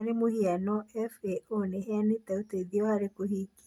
Kwa mũhano, FAO nĩ ĩheanĩte ũteithio harĩ kũhingia